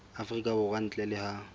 afrika borwa ntle le ha